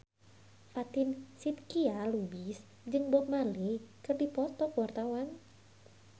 Fatin Shidqia Lubis jeung Bob Marley keur dipoto ku wartawan